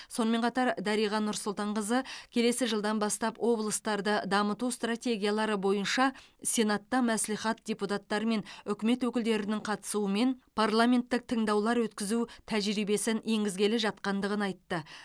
сонымен қатар дариға нұрсұлтанқызы келесі жылдан бастап облыстарды дамыту стратегиялары бойынша сенатта мәслихат депутаттары мен үкімет өкілдерінің қатысуымен парламенттік тыңдаулар өткізу тәжірибесін енгізгелі жатқандығын айтты